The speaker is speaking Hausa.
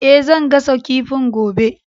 E, zan gasa kifin gobe.